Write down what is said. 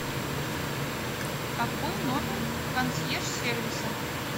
какой номер консьерж сервиса